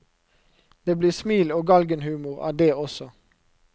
Det blir smil og galgenhumor av dét også.